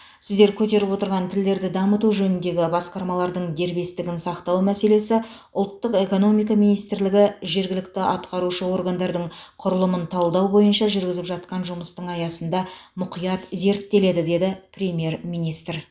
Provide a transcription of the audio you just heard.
сіздер көтеріп отырған тілдерді дамыту жөніндегі басқармалардың дербестігін сақтау мәселесі ұлттық экономика министрлігі жергілікті атқарушы органдардың құрылымын талдау бойынша жүргізіп жатқан жұмыстың аясында мұқият зерттеледі деді премьер министр